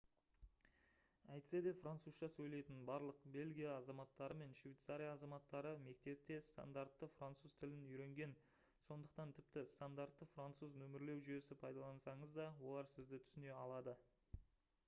әйтсе де французша сөйлейтін барлық бельгия азаматтары мен швейцария азаматтары мектепте стандартты француз тілін үйренген сондықтан тіпті стандартты француз нөмірлеу жүйесі пайдалансаңыз да олар сізді түсіне алады